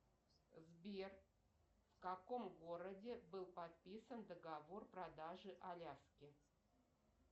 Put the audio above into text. сбер в каком городе был подписан договор продажи аляски